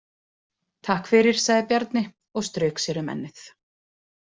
Takk fyrir, sagði Bjarni og strauk sér um ennið.